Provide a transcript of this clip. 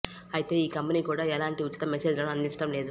అయితే ఈ కంపెనీ కూడా ఎలాంటి ఉచిత మెసేజ్ లను అందించడం లేదు